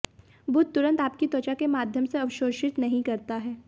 बुध तुरंत आपकी त्वचा के माध्यम से अवशोषित नहीं करता है